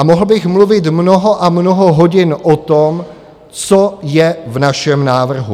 A mohl bych mluvit mnoho a mnoho hodin o tom, co je v našem návrhu.